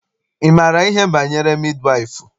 Ị maara ihe banyere midi waịfụ?